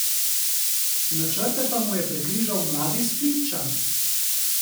Načrte pa mu je prekrižal mladi Splitčan.